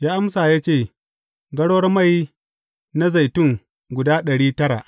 Ya amsa ya ce, Garwar mai na zaitun guda ɗari tara.’